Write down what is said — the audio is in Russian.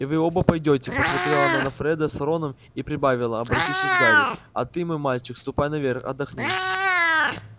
и вы оба пойдёте посмотрела она на фреда с роном и прибавила обратившись к гарри а ты мой мальчик ступай наверх отдохни